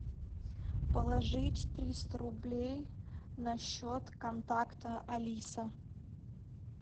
положить триста рублей на счет контакта алиса